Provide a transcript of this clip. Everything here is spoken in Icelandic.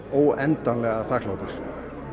óendanlega þakklátur